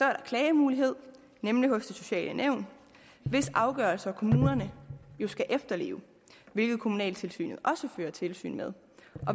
der klagemulighed nemlig hos det sociale nævn hvis afgørelser kommunerne jo skal efterleve hvilket kommunaltilsynet også fører tilsyn med